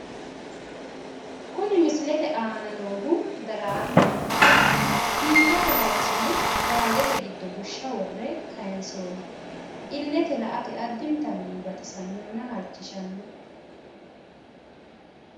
Kuni misilete aana noohu daraarchoho. Biifate halchine baaldete giddo bushsha worre kayinsoonni. Illete la'ate addinta baxisannonna halchishanno.